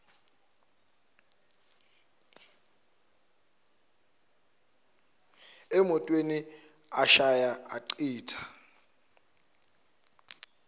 emotweni ashaya achitha